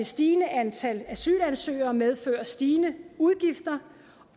stigende antal asylansøgere medfører stigende udgifter